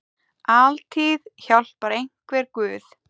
Altíð hjálpar einhver guð.